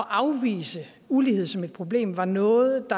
afvise ulighed som et problem var noget